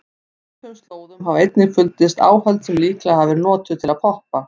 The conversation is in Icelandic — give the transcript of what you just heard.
Á svipuðum slóðum hafa einnig fundist áhöld sem líklega hafa verið notuð til að poppa.